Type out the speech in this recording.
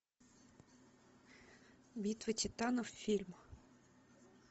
битва титанов фильм